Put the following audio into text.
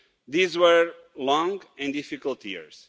These were long and difficult years.